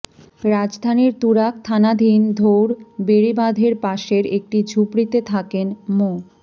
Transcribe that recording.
রাজধানীর তুরাগ থানাধীন ধউর বেড়িবাঁধের পাশের একটি ঝুপড়িতে থাকেন মো